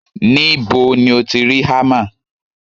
Níbo ti o ti rí hámà?